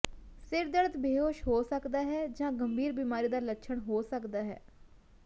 ਸਿਰ ਦਰਦ ਬੇਹੋਸ਼ ਹੋ ਸਕਦਾ ਹੈ ਜਾਂ ਗੰਭੀਰ ਬਿਮਾਰੀ ਦਾ ਲੱਛਣ ਹੋ ਸਕਦਾ ਹੈ